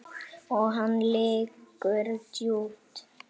Og hann liggur djúpt